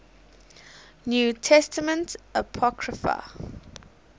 new testament apocrypha